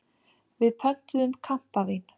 Við pöntuðum kampavín.